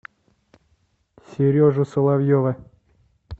сережу соловьева